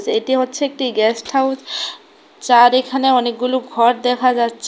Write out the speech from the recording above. এটি হচ্ছে একটি গেস্ট হাউস যার এখানে অনেকগুলো ঘর দেখা যাচ--